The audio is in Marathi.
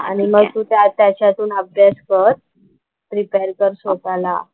आणि मग तू त्या त्याच्यातून अभ्यास कर प्रिपेअर कर स्वतःला.